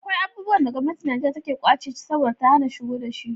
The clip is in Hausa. Akwai abubuwan da gwamnatin Nijeriya take kwance ce saboda ta hana shigowa da shi.